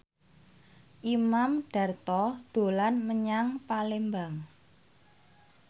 Imam Darto dolan menyang Palembang